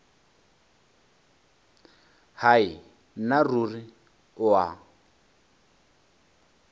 hai nna ruri o a